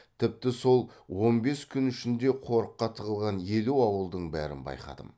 тіпті сол он бес күн ішінде қорыққа тығылған елу ауылдың бәрін байқадым